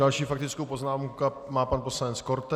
Další faktickou poznámku má pan poslanec Korte.